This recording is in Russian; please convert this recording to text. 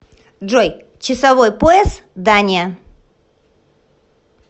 джой часовой пояс дания